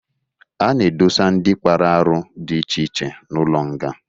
A na-edosa ndị kpara arụ dị iche iche n'ụlọ nga.